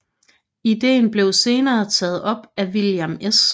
Ideen blev senere taget op af William S